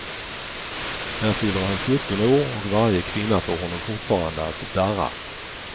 Här fyller han sjutton år, och varje kvinna får honom fortfarande att darra.